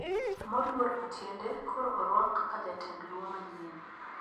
Moluor otiende koro oruoak kaka jatend luo manyien